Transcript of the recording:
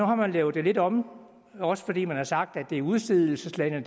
har man lavet det lidt om også fordi man har sagt at det er udstedelseslandet